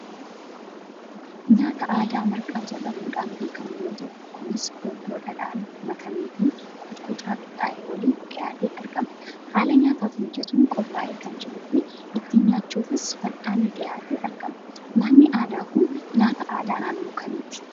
Nyaata aadaa marqaa jedhamuudhaan beekamu yoo ta'u kunis urgoo dhadhaadhaan makameefi qocqocaa qixaa'e waliin dhiyaatee argama. Haala nyaataaf mijatuun qophaa'ee kan jiruufi ittiin nyaachuufis fal'aanni dhiyaatee argama. Nyaatni aadaa kun nyaata aadaa naannoo kamiiti ?